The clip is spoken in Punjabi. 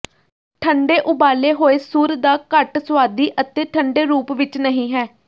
ਠੰਢੇ ਉਬਾਲੇ ਹੋਏ ਸੂਰ ਦਾ ਘੱਟ ਸੁਆਦੀ ਅਤੇ ਠੰਢੇ ਰੂਪ ਵਿਚ ਨਹੀਂ ਹੈ